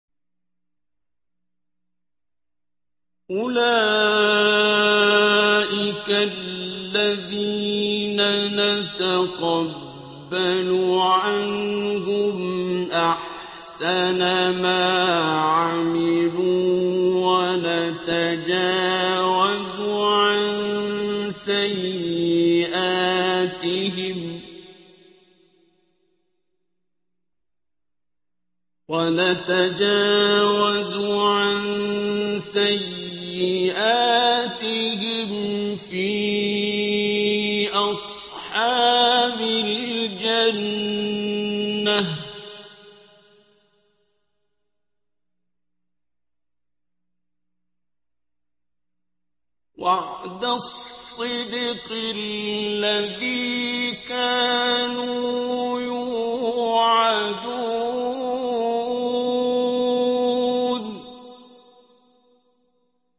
أُولَٰئِكَ الَّذِينَ نَتَقَبَّلُ عَنْهُمْ أَحْسَنَ مَا عَمِلُوا وَنَتَجَاوَزُ عَن سَيِّئَاتِهِمْ فِي أَصْحَابِ الْجَنَّةِ ۖ وَعْدَ الصِّدْقِ الَّذِي كَانُوا يُوعَدُونَ